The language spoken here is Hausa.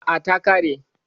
A'a, ta ƙare.